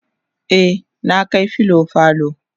e na Kai filo falo